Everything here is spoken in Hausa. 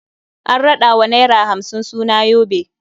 An raɗa wa naira hamsin suna yobe.